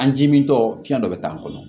An ji min tɔ fiyɛn dɔ bɛ taa an kɔnɔ